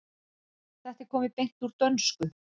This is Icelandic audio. Þetta er komið beint úr dönsku.